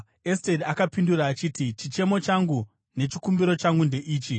Esteri akapindura akati, “Chichemo changu nechikumbiro changu ndeichi: